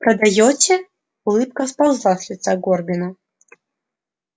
продаёте улыбка сползла с лица горбина